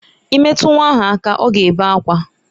I metụ nwa ahụ aka, ọ ga-ebe akwa.